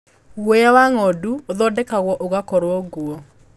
Guoya wa ng'ondu ũthondekagwo ũgakorwo nguo.